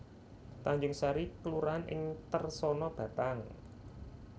Tanjungsari kelurahan ing Tersana Batang